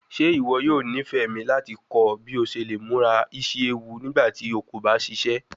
Ṣe iwọ yoo nifẹ mi lati kọ ọ bi o ṣe le mura isi ewu nigbati o ko ba ṣiṣẹ?